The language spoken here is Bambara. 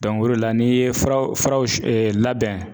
o de la n'i ye furaw furaw labɛn.